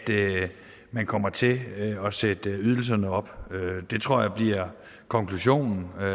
man kommer til at sætte ydelserne op det tror jeg bliver konklusionen og